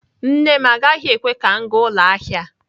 Nne m agaghị ekwe ka m gaa ụlọ ahịa.